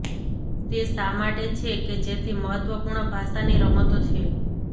તે શા માટે છે કે જેથી મહત્વપૂર્ણ ભાષાની રમતો છે